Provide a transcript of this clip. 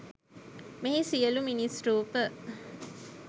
මෙහි සියලු මිනිස් රූප